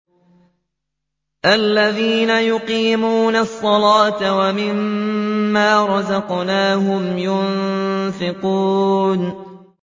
الَّذِينَ يُقِيمُونَ الصَّلَاةَ وَمِمَّا رَزَقْنَاهُمْ يُنفِقُونَ